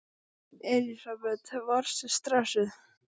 Elísabet: Varstu stressuð?